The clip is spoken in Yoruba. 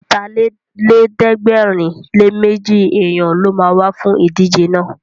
Ọ̀tàlélẹ̀ẹ́dẹ́gbẹ̀rinléméjì èèyàn ló ma wá fún ìdíje náà